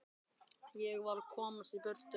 Ég varð að komast í burtu.